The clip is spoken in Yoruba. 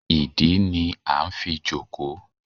ìdí ni a n fí jòkó